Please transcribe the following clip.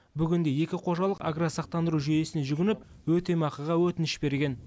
бүгінде екі қожалық агросақтандыру жүйесіне жүгініп өтемақыға өтініш берген